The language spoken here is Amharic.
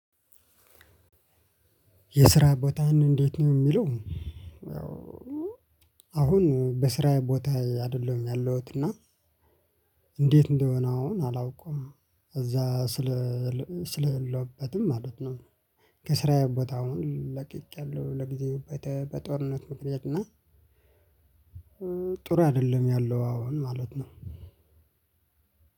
የስራ ቦታህ እንዴት ነው የሚለው? አሁን በስራ ቦታ አይደለሁም ያለሁት እና እንዴት እንደሆነ አሁን አላውቅም እዛ ስለ ስለሌለበትሁም ማለት ነው። ከስራዬ ቦታ አሁን ለቅቄ አለሁ ለጊዜው በጦርነት ምክንያት እና። ጥሩ አይደለም ያለው አሁን ማለት ነው።